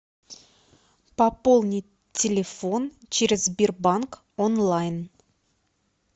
пополнить телефон через сбербанк онлайн